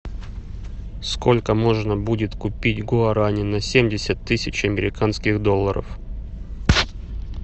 сколько можно будет купить гуарани на семьдесят тысяч американских долларов